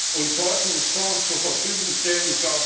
und Forschungsfonds zur Verfügung stellen.